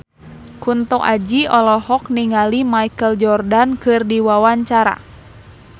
Kunto Aji olohok ningali Michael Jordan keur diwawancara